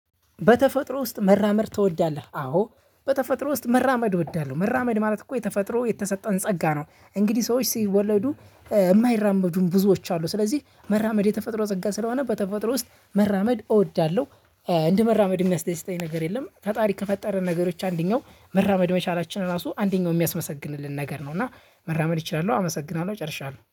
በተፈጥሮ ውስጥ መራመድ ትወዳለህ? አዎ በተፈጥሮ ውስጥ መራመድ እወዳለሁ መራመድ ማለት እኮ የተፈጥሮ የተሰጠን ጸጋ ነው። እንግዲህ ሰዎች ሲወለዱ የማይራመዱ ብዙዎች አሉ ስለዚህ መራመድ የተፈጥሮ ጸጋ ስለሆነ በተፈጥሮ ውስጥ መራመድ እወዳለሁ። እንደ መራመድ የሚያስደስተኝ ነገር የለም። ፈጣሪ ከፈጠረን ነገሮች አንደኛው መራመድ መቻላችን ራሱ አንደኛው የሚያስመሰግንልን ነገር ነው። እና መራመድ እችላለሁ አመሰግናለሁ ጨርሻለሁ